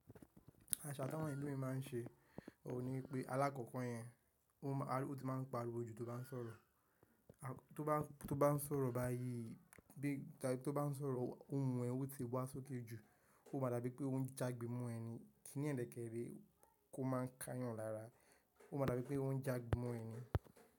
Àṣà tí àwọn elòmíràn ma n ṣe, òun ni pé alákòkò yẹn, ó ti ma n pariwo jù tó bá n sọ̀rọ̀. Tó bá n sọ̀rọ̀ báyìí, tó bá n sọ̀rọ̀ ohùn e ó ti wá sókè jù, ó ma dàbí pé o n jágbe mọ́ ẹ ni, kí ní yen deke re, ò má a n ká yàn lára. Ó ma dàbí pé ohun jágbe mọ́ ẹni.